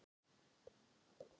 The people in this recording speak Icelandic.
Dalla, hver er dagsetningin í dag?